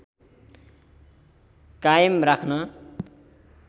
कायम राख्न